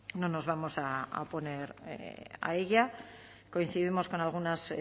no nos vamos a oponer a ella coincidimos con algunas